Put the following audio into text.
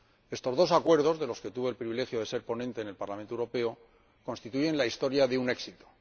Estos dos acuerdos, de los que tuve el privilegio de ser ponente en el Parlamento Europeo, constituyen la historia de un éxito.